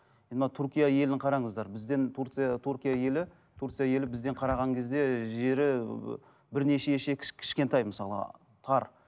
енді мына түркия елін қараңыздар бізден турция түркия елі турция елі бізден қараған кезде жері бірнеше кішкентай мысалы тар